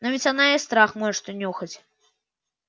но ведь она и страх может унюхать